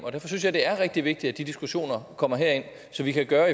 synes jeg det er rigtig vigtigt at de diskussioner kommer herind så vi kan gøre